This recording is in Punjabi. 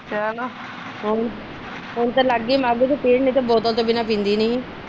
ਚਲੋ ਹੁਣ ਤੇ ਲੱਗ ਗੀ ਮੱਘ ਚ ਪੀਣ ਨਹੀ ਬੋਤਲ ਤੋ ਬਿਨਾ ਪੀਂਦੀ ਨੀ ਸੀ।